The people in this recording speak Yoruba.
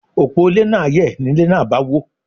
Òpó ilé náà yẹ̀, ni ilé náà bá wó.